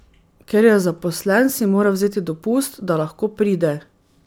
Ker je zaposlen, si mora vzeti dopust, da lahko pride.